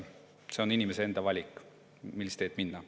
See on inimese enda valik, millist teed minna.